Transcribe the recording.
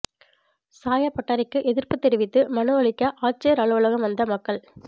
சாயப் பட்டறைக்கு எதிர்ப்புத் தெரிவித்து மனு அளிக்க ஆட்சியா் அலுவலகம் வந்த மக்கள்